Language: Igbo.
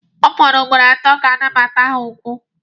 Ọ fọrọ ugboro atọ ka nnabata ha gwụ.